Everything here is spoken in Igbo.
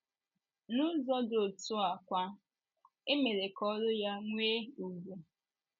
N’ụzọ dị otú a kwa, e mere ka oru ya nwee ùgwù.